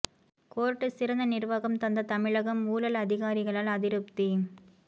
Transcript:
court சிறந்த நிர்வாகம் தந்த தமிழகம் ஊழல் அதிகாரிகளால் அதிருப்தி